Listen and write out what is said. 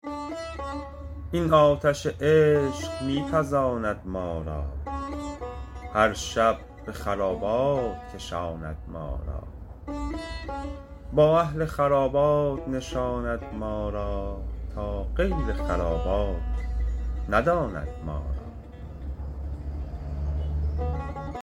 این آتش عشق می پزاند ما را هر شب به خرابات کشاند ما را با اهل خرابات نشاند ما را تا غیر خرابات نداند ما را